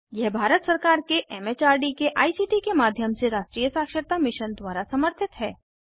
यह भारत सरकार के एम एच आर डी के आई सी टी के माध्यम से राष्ट्रीय साक्षरता मिशन द्वारा समर्थित है